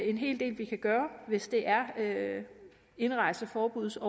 en hel del vi kan gøre hvis det er overtrædelser af indrejseforbud som